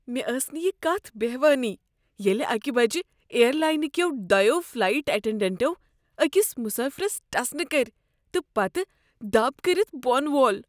مےٚ ٲس نہٕ یہ کتھ بہوٲنی ییٚلہ اکہ بجہ اییر لاینہ كیو دۄیو فلایٹ اٹٮ۪نڈٮ۪نٹو أکس مسٲفرس ٹسنہٕ کٔرۍ تہٕ پتہٕ دب كٔرتھ بۄن وول۔